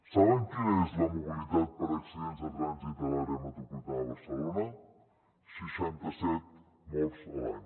saben quina és la mortalitat per accidents de trànsit a l’àrea metropolitana de barcelona seixanta set morts a l’any